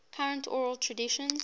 current oral traditions